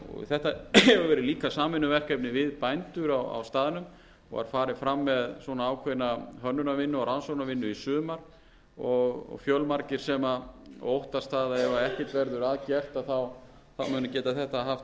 þetta hefur verið líka samvinnuverkefni við bændur á staðnum og var farið fram með ákveðna hönnunarvinnu og rannsóknarvinnu í sumar og fjölmargir sem óttast það ef ekkert verður að gert að þá muni þetta geta haft